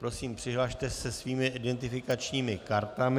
Prosím, přihlaste se svými identifikačními kartami.